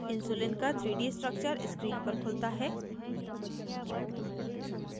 insulin का 3d structure screen पर खुलता है